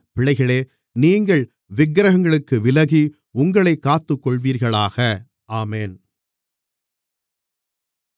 பிள்ளைகளே நீங்கள் விக்கிரகங்களுக்கு விலகி உங்களைக் காத்துக்கொள்வீர்களாக ஆமென்